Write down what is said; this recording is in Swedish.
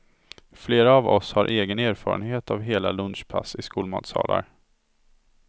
Flera av oss har egen erfarenhet av hela lunchpass i skolmatsalar.